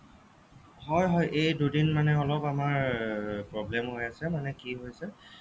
হ'য় হ'য় এই দুই দিন মানে অলপ আমাৰ problem হৈ আছে মানে কি হৈছে